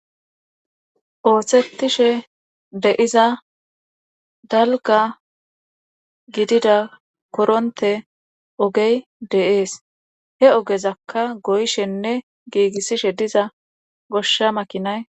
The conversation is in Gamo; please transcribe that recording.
ooththetishe deiza dalga gidida koronte ogey deees he ogezakka goyshenne giigissishe diza goshsha makinay